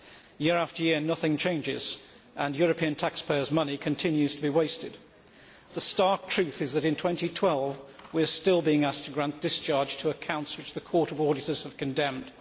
Year after year, nothing changes and European taxpayers' money continues to be wasted. The stark truth is that in 2012 we are still being asked to grant discharge to accounts which the Court of Auditors has condemned.